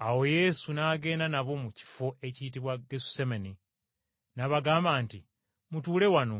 Awo Yesu n’agenda nabo mu kifo ekiyitibwa Gesusemane n’abagamba nti, “Mutuule wano